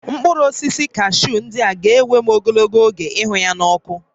Mkpụrụ osisi kashuu ndị a ga-ewe m ogologo oge ịhụ ya n'ọkụ